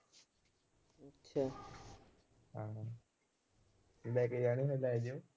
ਲੈ ਕੇ ਜਾਣੇ ਨੇ ਲੈ ਜਾਇਓ।